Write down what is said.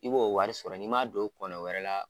I b'o wari sɔrɔ n'i m'a don kɔnɔ wɛrɛ la.